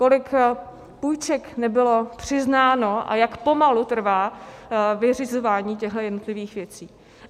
Kolik půjček nebylo přiznáno a jak pomalu trvá vyřizování těchto jednotlivých věcí.